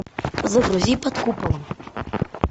загрузи под куполом